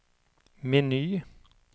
meny